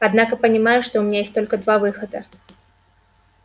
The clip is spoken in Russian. однако понимаю что у меня есть только два выхода